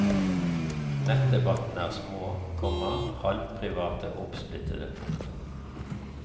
Nettdebattene er små, komma halvprivate og oppsplittede. punktum